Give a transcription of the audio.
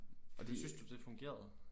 Og det synes du det fungerede?